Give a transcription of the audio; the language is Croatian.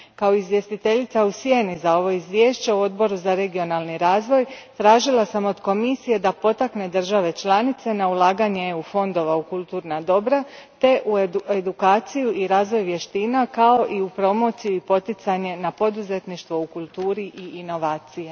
Kao izvjestiteljica u sjeni za ovo izvješće u Odboru za regionalni razvoj, tražila sam od Komisije da potakne države članice na ulaganje fondova EU a u kulturna dobra te u edukaciju i razvoj vještina, kao i u promociju i poticanje na poduzetništvo u kulturi i inovaciju.